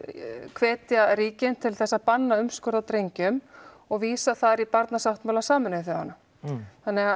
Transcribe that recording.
hvetja ríkin til að banna umskurð á drengjum og vísa þar í Barnasáttmála Sameinuðu þjóðanna